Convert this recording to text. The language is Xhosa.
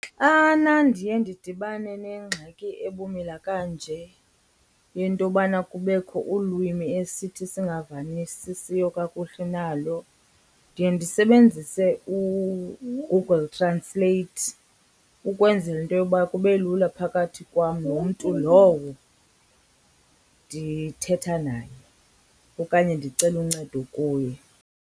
Xana ndiye ndidibane nengxaki ebumila kanje yento yobana kubekho ulwimi esithi singavanisisiyo kakuhle nalo ndiye ndisebenzise uGoogle Translate, ukwenzela into yoba kube lula phakathi kwam nomntu lowo ndithetha naye okanye ndicele uncedo kuye.